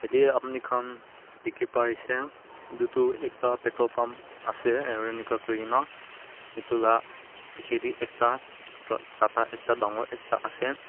de apni khan dikhi pai ase itu tu ekta petrol pump ase aro inika koi kena itu la piche te ekta tr tata ekta dangor ekta ase.